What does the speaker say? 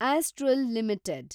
astral limited